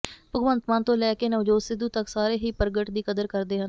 ਭਗਵੰਤ ਮਾਨ ਤੋਂ ਲੈ ਕੇ ਨਵਜੋਤ ਸਿੱਧੂ ਤਕ ਸਾਰੇ ਹੀ ਪਰਗਟ ਦੀ ਕਦਰ ਕਰਦੇ ਹਨ